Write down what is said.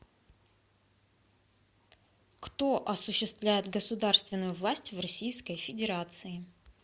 кто осуществляет государственную власть в российской федерации